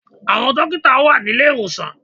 Àwọn dókítà wà ní ilé-ìwòsàn